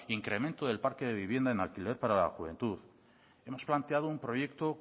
incremento del parque de vivienda en alquiler para la juventud hemos planteado un proyecto